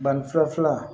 Banni fura filanan